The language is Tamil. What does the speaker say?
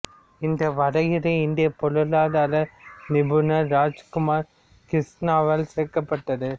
இந்த வரையறை இந்தியப் பொருளாதார நிபுணர் ராஜ் குமார் கிருஷ்ணாவால் கோர்க்கப்பட்டது